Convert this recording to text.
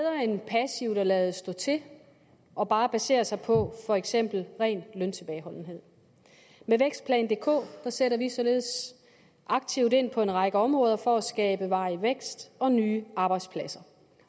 er at lade stå til og bare basere sig på for eksempel ren løntilbageholdenhed med vækstplan dk sætter vi således aktivt ind på en række områder for at skabe varig vækst og nye arbejdspladser